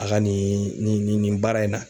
A ka nin nin nin nin nin baara in na.